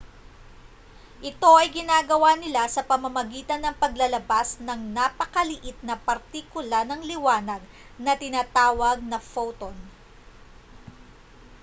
ito ay ginagawa nila sa pamamagitan ng paglalabas ng napakaliit na partikula ng liwanag na tinatawag na photon